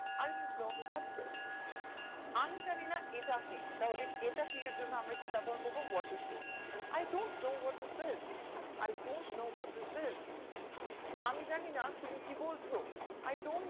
I don't know his address আমি জানি না এটা কি তাহলে এটা কি এর জন্য আমরা কি ব্যবহার করবো what is this I don't know what is this I don't know what is this আমি জানি না তুমি কি বলছো I don't know